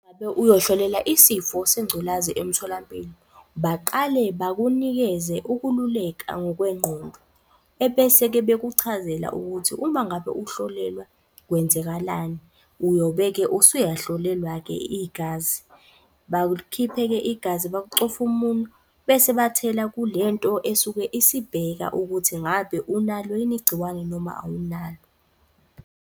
Ngabe uyoy'hlolela isifo sengculazi emtholampilo, saqale bakunikeze ukululeka ngokwengqondo, ebese-ke bekuchazela ukuthi uma ngabe uhlolelwa kwenzakalani uyobe-ke usuyahlolelwa-ke igazi. Bakukhiphe-ke igazi, bakucofe umunwe, bese bathela kulento esuke isibheka ukuthi ngabe unalo yini igciwane noma awunalo.